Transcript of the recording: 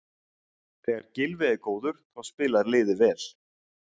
Þegar Gylfi er góður þá spilar liðið vel.